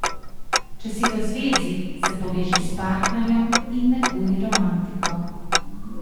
Če si v zvezi, se poveži s partnerjem in neguj romantiko.